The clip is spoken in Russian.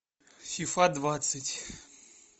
фифа двадцать